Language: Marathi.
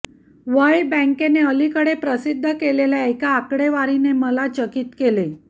वर्ल्ड बँकेने अकीकडे प्रसिद्ध केलेल्या एका आकडेवारीने मला चकित केले